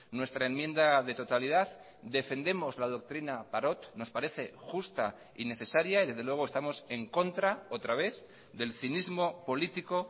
nuestra enmienda de totalidad defendemos la doctrina parot nos parece justa y necesaria y desde luego estamos en contra otra vez del cinismo político